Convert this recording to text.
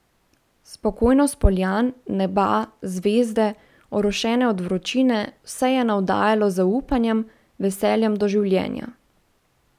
Spokojnost poljan, neba, zvezde, orošene od vročine, vse je navdajalo z zaupanjem, veseljem do življenja.